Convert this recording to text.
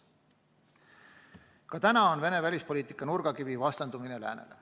Ka täna on Venemaa välispoliitika nurgakivi vastandumine läänele.